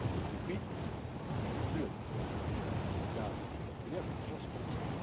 y compris on l'a vu à travers un certain nombre de cas spectaculaires d'agents sportifs.